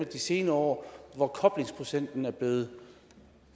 de senere år hvor koblingsprocenten er blevet